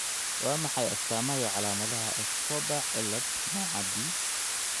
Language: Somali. Waa maxay astamaha iyo calaamadaha Escobar ciilad, nooca B?